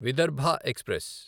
Vidarbha express